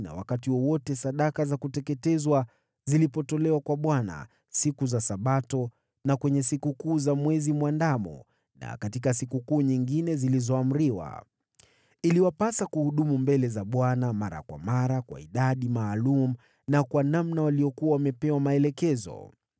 na wakati wowote sadaka za kuteketezwa zilipotolewa kwa Bwana siku za Sabato na kwenye sikukuu za Mwezi Mwandamo na katika sikukuu nyingine zilizoamriwa. Iliwapasa kuhudumu mbele za Bwana mara kwa mara kwa idadi maalum na kwa namna waliyokuwa wamepewa maelekezo.